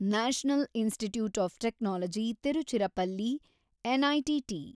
national institute of technology Tiruchirappalli, NITT